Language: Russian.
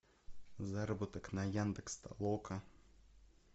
заработок на яндекс толока